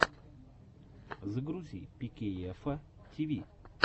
загрузи пикейэфа тиви